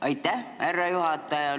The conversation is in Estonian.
Aitäh, härra juhataja!